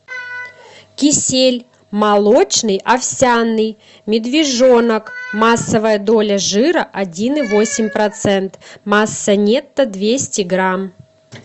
кисель молочный овсяный медвежонок массовая доля жира один и восемь процент масса нетто двести грамм